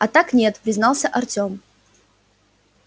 а так нет признался артём